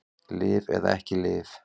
Lyf eða ekki lyf